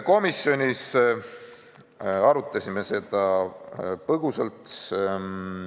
Komisjonis me arutasime seda eelnõu põgusalt.